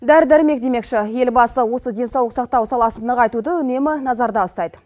дәрі дәрмек демекші елбасы осы денсаулық сақтау саласын нығайтуды үнемі назарда ұстайды